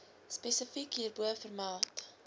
spesifiek hierbo vermeld